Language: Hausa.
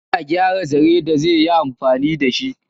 Yana gyara zare da zi yi amfani da shi.